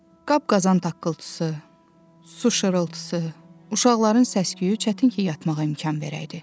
Qab-qazan taqqıltısı, su şırıltısı, uşaqların səsküyü çətin ki, yatmağa imkan verəydi.